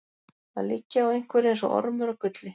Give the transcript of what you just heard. Að liggja á einhverju eins og ormur á gulli